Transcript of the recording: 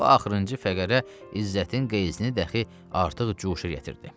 Bu axırıncı fəqərə İzzətin qeyzini dəxi artıq cuşa gətirdi.